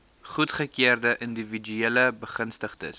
goedgekeurde indiwiduele begunstigdes